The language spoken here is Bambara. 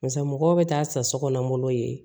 Barisa mɔgɔw bɛ taa sa sokɔnɔ ye